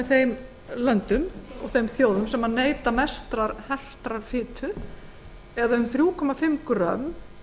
þeim löndum og þjóðum sem neyta transfitusýra í mestu magni eða um þrjú komma fimm grömm